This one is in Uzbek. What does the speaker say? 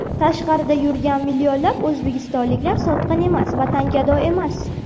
Tashqarida yurgan millionlab o‘zbekistonliklar sotqin emas, vatangado emas.